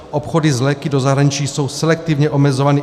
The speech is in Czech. Obchody s léky do zahraničí jsou selektivně omezovány.